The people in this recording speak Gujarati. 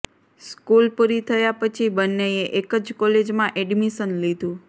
સ્કુલ પુરી થયા પછી બંનેએ એક જ કોલેજમાં એડમિશન લીધું